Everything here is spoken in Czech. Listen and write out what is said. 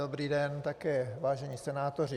Dobrý den také, vážení senátoři.